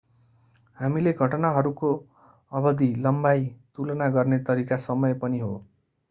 हामीले घटनाहरूको अवधि लम्बाई तुलना गर्ने तरिका समय पनि हो।